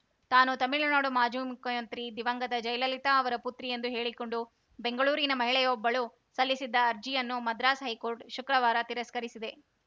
ತಾನು ತಮಿಳುನಾಡು ಮಾಜು ಮುಖ್ಯಮಂತ್ರಿ ದಿವಂಗತ ಜಯಲಲಿತಾ ಅವರ ಪುತ್ರಿ ಎಂದು ಹೇಳಿಕೊಂಡು ಬೆಂಗಳೂರಿನ ಮಹಿಳೆಯೊಬ್ಬಳು ಸಲ್ಲಿಸಿದ್ದ ಅರ್ಜಿಯನ್ನು ಮದ್ರಾಸ್‌ ಹೈಕೋರ್ಟ್‌ ಶುಕ್ರವಾರ ತಿರಸ್ಕರಿಸಿದೆ